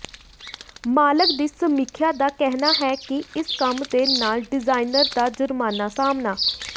ਮਾਲਕ ਦੀ ਸਮੀਖਿਆ ਦਾ ਕਹਿਣਾ ਹੈ ਕਿ ਇਸ ਕੰਮ ਦੇ ਨਾਲ ਡਿਜ਼ਾਈਨਰ ਦਾ ਜੁਰਮਾਨਾ ਸਾਮ੍ਹਣਾ